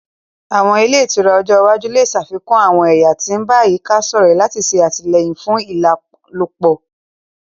Àwọn ile itura ojo iwaju le ṣafikun àwọn ẹya ti n ba àyíká-sọrẹ lati ṣe atilẹyin fún ìlálòpẹ́